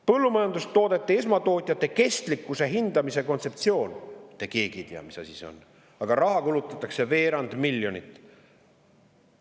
Põllumajandustoodete esmatootjate kestlikkuse hindamise kontseptsioon – te keegi ei tea, mis asi see on, aga raha kulutatakse selleks veerand miljonit.